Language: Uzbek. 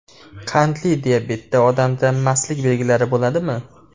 Qandli diabetda odamda mastlik belgilari bo‘ladimi?